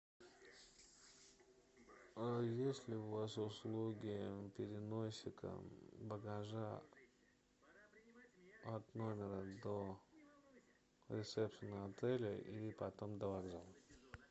есть ли у вас услуги переносика багажа от номера до ресепшена отеля и потом до вокзала